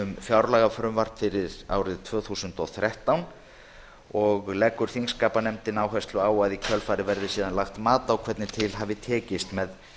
fjárlagafrumvarp fyrir árið tvö þúsund og þrettán verði horft til efnis þess frumvarps þingskapanefnd leggur síðan áherslu á að í kjölfarið verði síðan lagt mat á það hvernig til hafi tekist með